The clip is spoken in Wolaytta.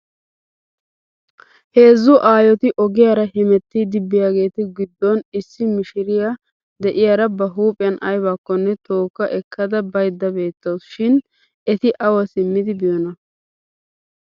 Heezzu aayoti ogiyaara hemetiiddi biyaageetu goddon issi mishiriyaa de'iyaara ba huuphiyan aybakkonne tooka ekkada baydda beettaws shin eti awa simmidi biyoonaa.